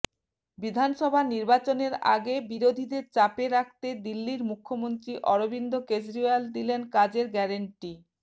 বিধানসভা নির্বাচনের আগে বিরোধীদের চাপে রাখতে দিল্লির মুখ্যমন্ত্রী অরবিন্দ কেজরিওয়াল দিলেন কাজের গ্যারান্টি